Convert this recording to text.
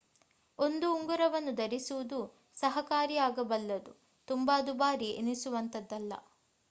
ಒಂದು ಉಂಗುರವನ್ನು ಧರಿಸುವುದೂ ಸಹಕಾರಿಯಾಗಬಲ್ಲುದು ತುಂಬಾ ದುಬಾರಿ ಎನಿಸುವಂತದ್ದಲ್ಲ